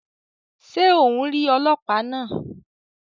Ṣe o ń ríi ọlọpa náa?